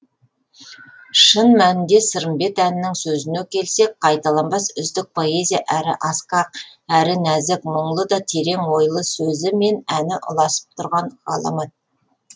шын мәнінде сырымбет әнінің сөзіне келсек қайталанбас үздік поэзия әрі асқақ әрі нәзік мұңлы да терең ойлы сөзі мен әні ұласып тұрған ғаламат